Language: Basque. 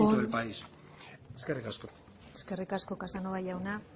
del país amaitzen joan eskerrik asko eskerrik asko casanova jauna